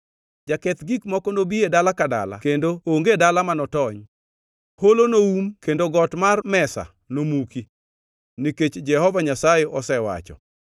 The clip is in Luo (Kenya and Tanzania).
Jaketh gik moko nobi e dala ka dala kendo onge dala ma notony. Holo noum kendo got mar mesa nomuki, nikech Jehova Nyasaye osewacho.